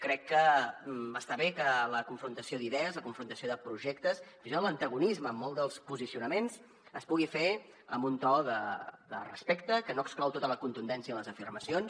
crec que està bé que la confrontació d’idees la confrontació de projectes fins i tot l’antagonisme en molts dels posicionaments es pugui fer en un to de respecte que no exclou tota la contundència en les afirmacions